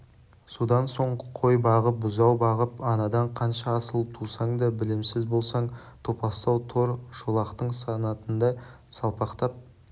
содан соң қой бағып бұзау бағып анадан қанша асыл тусаң да білімсіз болсаң топастау тор шолақтың санатында салпақтап